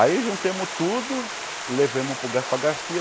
Aí juntamos tudo e levamos para o Gaspar Garcia.